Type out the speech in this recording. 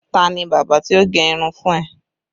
Ta ni bábà tí ó gẹ irun fún ẹ?